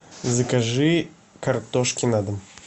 закажи картошки на дом